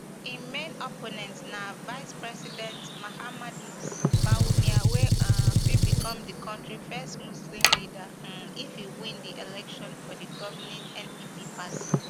im main opponent na vicepresident mahamudu bawumia wey um fit become di kontri first muslim leader um if e win di election for di governing npp party